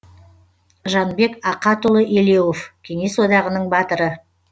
жанбек ақатұлы елеуов кеңес одағының батыры